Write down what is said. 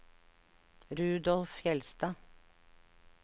Rudolf Fjellstad